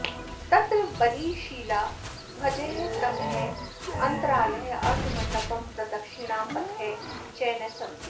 तत्र बलिशिला ध्वजस्तम्भः अन्तरालः अर्धमण्डपं प्रदक्षिणापथः च न सन्ति